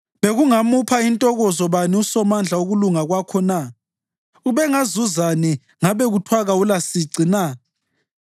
Bekungamupha ntokozo bani uSomandla ukulunga kwakho na? Ubengazuzani ngabe kuthiwa kawulasici na?